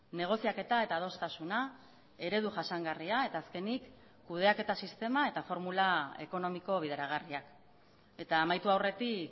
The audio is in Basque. negoziaketa eta adostasuna eredu jasangarria eta azkenik kudeaketa sistema eta formula ekonomiko bideragarriak eta amaitu aurretik